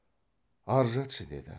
ар жатшы деді